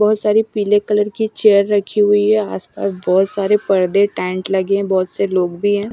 बहुत सारी पीले कलर की चेयर रखी हुई है आसपास बहुत सारे पर्दे टेंट लगे हैं बहुत से लोग भी हैं।